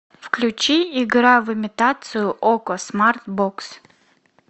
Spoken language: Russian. включи игра в имитацию окко смарт бокс